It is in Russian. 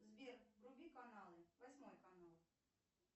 сбер вруби каналы восьмой канал